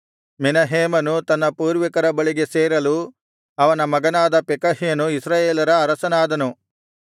ಮೆನಹೇಮನು ತನ್ನ ಪೂರ್ವಿಕರ ಬಳಿಗೆ ಸೇರಲು ಅವನ ಮಗನಾದ ಪೆಕಹ್ಯನು ಇಸ್ರಾಯೇಲರ ಅರಸನಾದನು